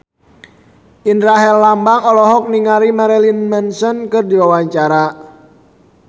Indra Herlambang olohok ningali Marilyn Manson keur diwawancara